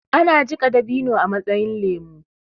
ana jika dabino a matsayin lemo